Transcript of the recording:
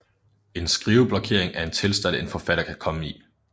En skriveblokering er en tilstand en forfatter kan komme i